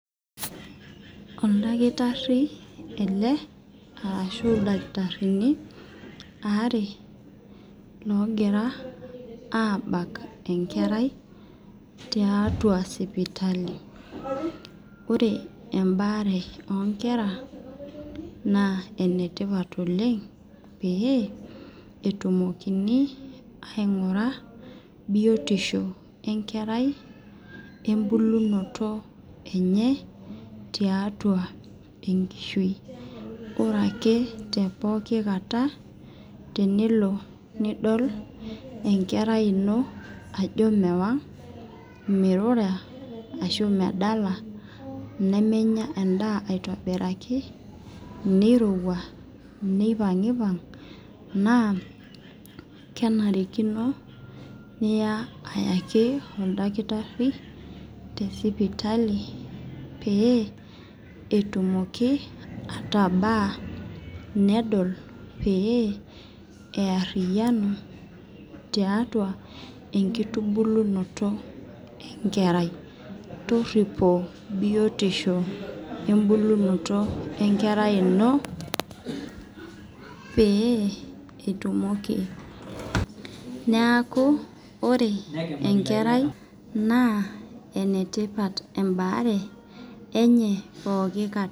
Ildakitarini ele arshu ildakitarini ware logira abak enkerai tiatua sipitali. Ore ebare oo nkera naa enetipa oleng pee etumokini aing'ura biotisho enkeraiebulunoto enye tiatua enkishui. Ore ake te pookin kata tenelo nidol enkerai ino ajo mewang mirura arashu medala nemenya edaa aitobiraki nirowua nipang'ipang' naa kenarikino naa niya ayaki oltakitari te sipaitali pee etumuki atabaa nedol pee eyarianu tiatu enkitubulunoto enkerai. Toripo biotisho wee bulunoto enkerai ino pee itumoki. Neeku ore enkerai naa enetipat ebare enye pookin kataa.